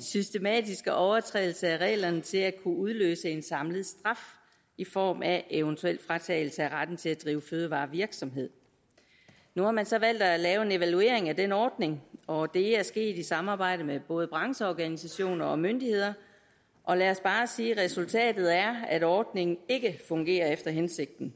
systematiske overtrædelser af reglerne til at kunne udløse en samlet straf i form af eventuel fratagelse af retten til at drive fødevarevirksomhed nu har man så valgt at lave en evaluering af den ordning og det er sket i samarbejde med både brancheorganisationer og myndigheder og lad os bare sige at resultatet er at ordningen ikke fungerer efter hensigten